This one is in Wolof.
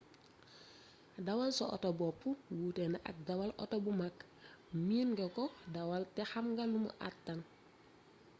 dawal sa auto bopp wuute na ak dawal auto bu mag miin nga ko dawal te xamna lumu àttan